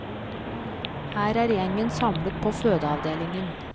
Her er gjengen samlet på fødeavdelingen.